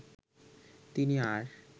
তিনি আর